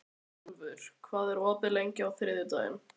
Björgúlfur, hvað er opið lengi á þriðjudaginn?